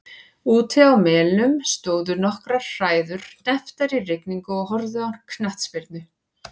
Úti á Melum stóðu nokkrar hræður hnepptar í rigningu og horfðu á knattspyrnu.